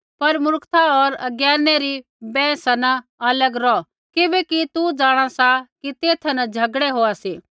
पर मूर्खता होर अज्ञानै री बैंहसा न अलग रौह किबैकि तू जाँणा सा कि तेथा न झ़गड़ै होआ सी